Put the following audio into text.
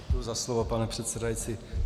Děkuji za slovo, pane předsedající.